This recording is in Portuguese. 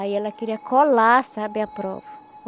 Aí ela queria colar, sabe, a prova.